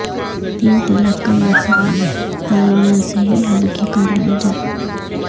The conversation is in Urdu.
تین طلا ق کا مسئلہ علما ء سے ہی حل کرایا جائے